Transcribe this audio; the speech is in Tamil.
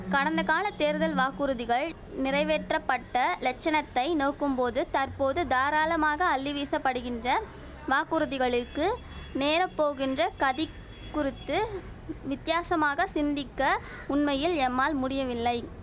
கடந்தகாலத் தேர்தல் வாக்குறுதிகள் நிறைவேற்றப்பட்ட லட்சணத்தை நோக்கும்போது தற்போது தாராளமாக அள்ளிவீசப்படுகின்ற வாக்குறுதிகளுக்கு நேர போகின்ற கதி குறித்து வித்தியாசமாக சிந்திக்க உண்மையில் எம்மால் முடியவில்லை